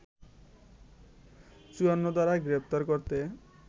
৫৪ ধারায় গ্রেপ্তার করতে